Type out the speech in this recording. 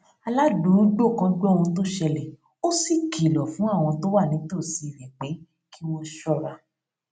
aládùúgbò kan gbó ohun tó ṣẹlè ó sì kìlò fún àwọn tó wà nítòsí rè pé kí wón ṣóra